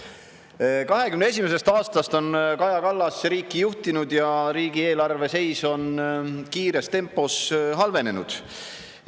2021. aastast on Kaja Kallas riiki juhtinud ja riigieelarve seis on kiires tempos halvenenud.